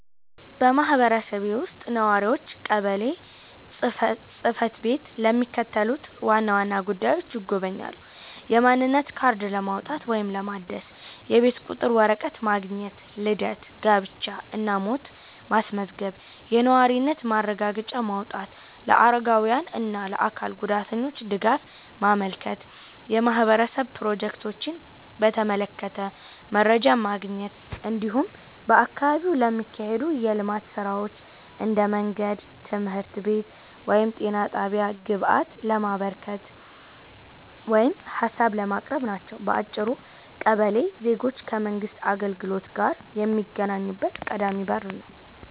በማህበረሰቤ ውስጥ ነዋሪዎች ቀበሌ ጽ/ቤትን ለሚከተሉት ዋና ዋና ጉዳዮች ይጎበኛሉ፦ የማንነት ካርድ ለማውጣት ወይም ለማደስ፣ የቤት ቁጥር ወረቀት ማግኘት፣ ልደት፣ ጋብቻ እና ሞት ማስመዝገብ፣ የነዋሪነት ማረጋገጫ ማውጣት፣ ለአረጋውያን እና ለአካል ጉዳተኞች ድጋፍ ማመልከት፣ የማህበረሰብ ፕሮጀክቶችን በተመለከተ መረጃ ማግኘት፣ እንዲሁም በአካባቢው ለሚካሄዱ የልማት ሥራዎች (እንደ መንገድ፣ ትምህርት ቤት ወይም ጤና ጣቢያ) ግብአት ለማበርከት ወይም ሀሳብ ለማቅረብ ናቸው። በአጭሩ ቀበሌ ዜጎች ከመንግሥት አገልግሎት ጋር የሚገናኙበት ቀዳሚ በር ነው።